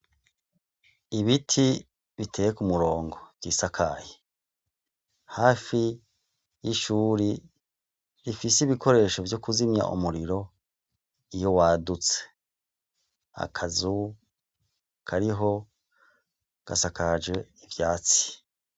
Ibiti biteye ku murongo vyisakaye . Hafi y'ishuri rifise ibikoresho vyo kuzimya umuriro iyo wadutse. Akazu kariho gasakaje ivyatsi.